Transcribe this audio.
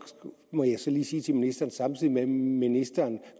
må jeg lige sige til ministeren at samtidig med at ministeren